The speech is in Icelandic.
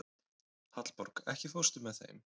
Hallborg, ekki fórstu með þeim?